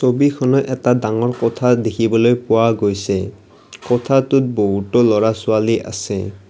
ছবিখনত এটা ডাঙৰ কোঠা দেখিবলৈ পোৱা গৈছে কোঠাটোত বহুতো ল'ৰা ছোৱালী আছে।